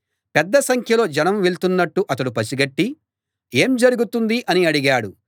పెద్ద సంఖ్యలో జనం వెళ్తున్నట్టు అతడు పసిగట్టి ఏం జరుగుతోంది అని అడిగాడు